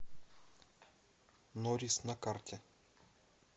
норис на карте